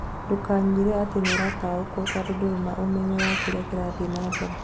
Ndũkanyĩre atĩ nĩũrataũkwo tondũ ndũrĩ na ũmenyo wakĩrĩa kĩrathiĩ na mbere